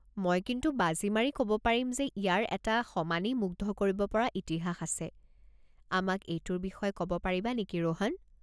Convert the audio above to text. মই কিন্তু বাজি মাৰি ক'ব পাৰিম যে ইয়াৰ এটা সমানেই মুগ্ধ কৰিব পৰা ইতিহাস আছে, আমাক এইটোৰ বিষয়ে ক'ব পাৰিবা নেকি ৰোহন?